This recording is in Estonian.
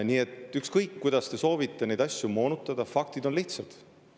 Nii et ükskõik, kuidas te soovite neid asju moonutada, faktid on lihtsad.